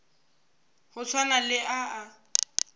go swana le a a